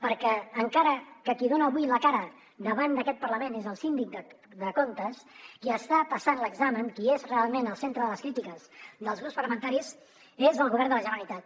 perquè encara que qui dona avui la cara davant d’aquest parlament és el síndic de comptes qui està passant l’examen qui és realment el centre de les crítiques dels grups parlamentaris és el govern de la generalitat